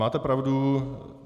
Máte pravdu.